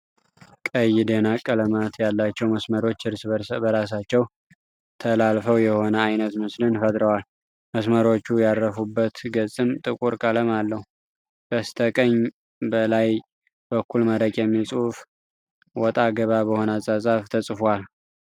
ቀይ ደናቅ ቀለማት ያላቸው መስመሮች እርስ በራሳቸው ተላልፈው የሆነ አይነት ምስልን ፈጥረዋል። መስመሮቹ ያረፉበት ገጽም ጥቁር ቀለም አለው። በስተ ቀኝ በላይ በኩል መረቅ የሚል ጽሁፍ ወጣ ገባ በሆነ አጻጻፍ ተጽፏል።